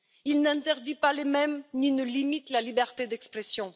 il n'interdit pas les mèmes ni ne limite la liberté d'expression.